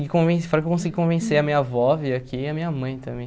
conven fora que consegui convencer a minha avó a vir aqui e a minha mãe também.